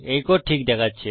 এই কোড ঠিক দেখাচ্ছে